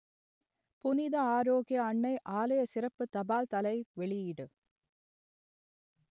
புனித ஆரோக்கிய அன்னை ஆலய சிறப்பு தபால் தலை வெளியீடு